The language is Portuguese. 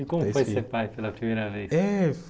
E como foi ser pai pela primeira vez? Eh